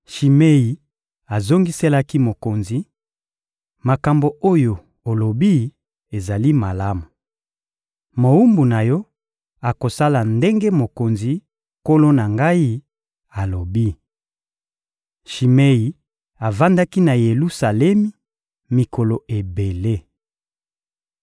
Shimei azongiselaki mokonzi: — Makambo oyo olobi ezali malamu! Mowumbu na yo akosala ndenge mokonzi, nkolo na ngai, alobi. Shimei avandaki na Yelusalemi mikolo ebele.